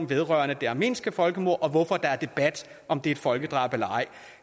vedrørende det armenske folkemord og hvorfor der er debat om det er et folkedrab eller ej